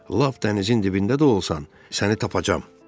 Lap dənizin dibində də olsan, səni tapacam.